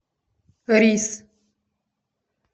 рис